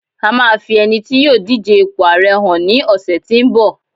a ma fi ẹni tí yíò dije ipo ààrẹ hàn ni ọsẹ tínbọ̀